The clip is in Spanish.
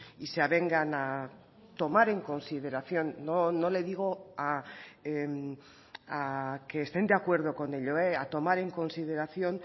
y se avengan a tomar en consideración no le digo a que estén de acuerdo con ello a tomar en consideración